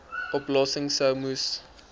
oplossings sou moes